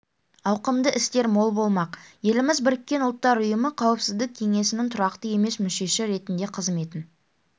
ауқымды істер мол болмақ еліміз біріккен ұлттар ұйымы қауіпсіздік кеңесінің тұрақты емес мүшесі ретінде қызметін